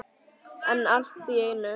En allt í einu.